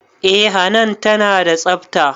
Eh hanan tana da tsafta